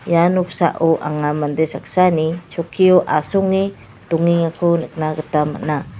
ia noksao anga mande saksani chokkio asonge dongengako nikna gita man·a.